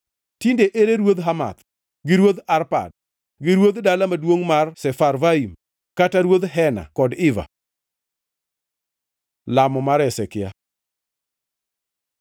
Tinde ere ruodh Hamath, gi ruodh Arpad gi ruodh dala maduongʼ mar Sefarvaim, kata ruodh Hena kod Iva?” Lamo mar Hezekia